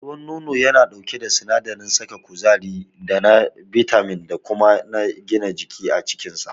Ruwan nono yana ɗauke da sinadarin saka kuzari da na bitamin da kuma na gina jiki a cikinsa.